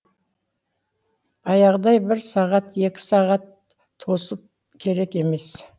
баяғыдай бір сағат екі сағат тосып керек емес